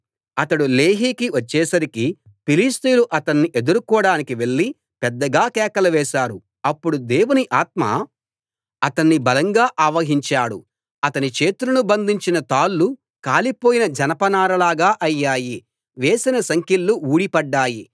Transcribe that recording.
అతడు లేహీకి వచ్చేసరికి ఫిలిష్తీయులు అతణ్ణి ఎదుర్కోడానికి వెళ్లి పెద్దగా కేకలు వేశారు అప్పుడు దేవుని ఆత్మ అతన్ని బలంగా ఆవహించాడు అతని చేతులను బంధించిన తాళ్ళు కాలిపోయిన జనపనారలాగా అయ్యాయి వేసిన సంకెళ్ళు ఊడి పడ్డాయి